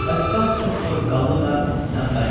Falstaf çox soyuqqanlı və tənbəl idi.